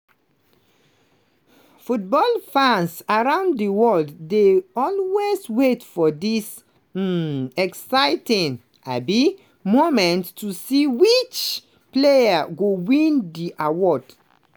football fans around di world dey always wait for dis um exciting um moment to see which players go win di awards.